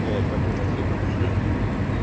вот так гораздо лучше вот